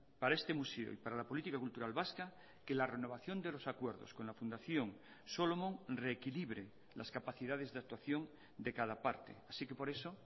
para este museo y para la política cultural vasca que la renovación de los acuerdos con la fundación solomon reequilibre las capacidades de actuación de cada parte así que por eso